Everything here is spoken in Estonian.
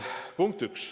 Punkt üks.